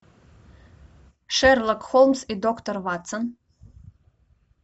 шерлок холмс и доктор ватсон